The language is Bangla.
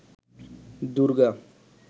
দূর্গা